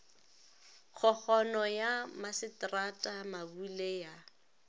kgokgono ya masetrata mabule ya